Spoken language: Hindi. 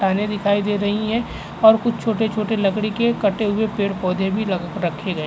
दिखाई दे रही हैं और कुछ छोटे छोटे कटे हुए लकड़ी के पेड़ पौधे भी रखे गए हैं।